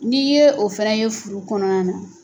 N'i ye o fana ye furu kɔnɔna na